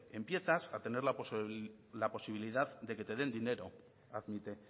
empiezas a tener la posibilidad de que te den dinero admite